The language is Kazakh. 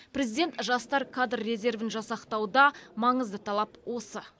президент жастар кадр резервін жасақтауда маңызды талап осы